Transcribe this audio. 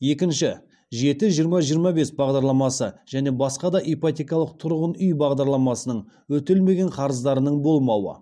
екінші жеті жиырма жиырма бес бағдарламасы және басқа да ипотекалық тұрғын үй бағдарламасының өтелмеген қарыздарының болмауы